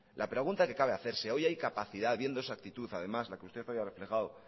la pregunta que cabe hacerse hoy hay capacidad viendo esa actitud además la que usted hoy ha reflejado